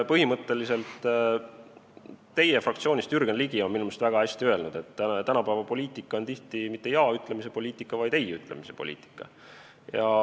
Teie fraktsioonist Jürgen Ligi on minu meelest väga hästi öelnud, et tänapäeva poliitika on tihti mitte jaa-ütlemise poliitika, vaid ei-ütlemise poliitika.